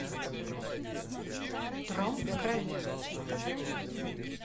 трон в крови